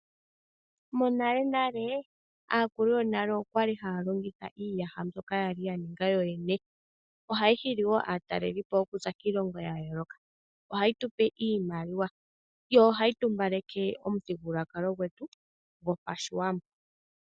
Monalenale aakulu yonale okwali haa longitha iiyaha mbuoka ya ninga yo yene ohaa hili wo aatalelipo okuza kiilongo ya yooloka ohayi tupe iimaliwa yo ohayi tupe iimaliwa